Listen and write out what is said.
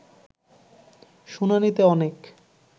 শুনানিতে অনেক